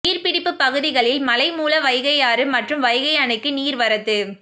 நீர்ப்பிடிப்பு பகுதிகளில் மழை மூல வைகையாறு மற்றும் வைகை அணைக்கு நீர்வரத்து